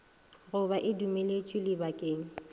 go ba e dumeletšwe lebakeng